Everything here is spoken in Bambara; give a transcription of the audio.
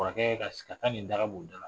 Kɔrɔkɛ ka sigi, a ka nin daga b'o da la